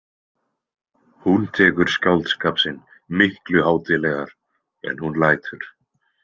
Hún tekur skáldskap sinn miklu hátíðlegar en hún lætur.